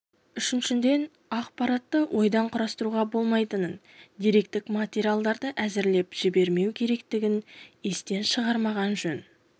үшіншіден ақпаратты ойдан құрастыруға болмайтынын деректік материалдарды әсірелеп жібермеу керектігін естен шығармағаны жөн